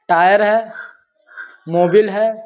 tyre है | Mobil है |